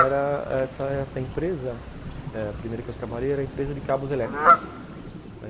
Eu era... essa essa empresa, a primeira que eu trabalhei era a empresa de cabos elétricos.